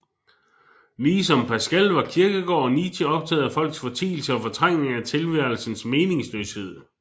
Ligesom Pascal var Kierkegaard og Nietzsche optaget af folks fortielse og fortrængning af tilværelsens meningsløshed